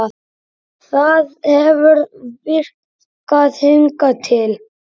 Það hefur virkað hingað til.